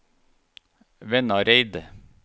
Vannareid